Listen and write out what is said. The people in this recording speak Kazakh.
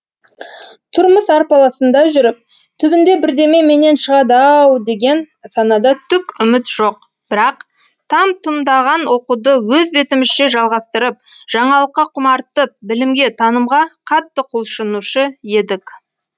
тұрмыс арпалысында жүріп түбінде бірдеме менен шығады ау деген санада түк үміт жоқ бірақ там тұмдаған оқуды өз бетімізше жалғастырып жаңалыққа құмартып білімге танымға қатты құлшынушы едік